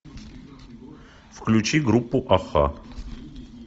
включи группу аха